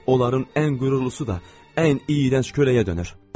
Onların ən qürurlusu da ən iyrənc köləyə dönür.